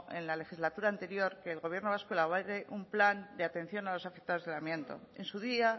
en la legislatura anterior que el gobierno vasco elabore un plan de atención a los afectados del amianto en su día